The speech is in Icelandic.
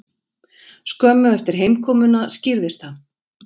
Skömmu eftir heimkomuna skýrðist það.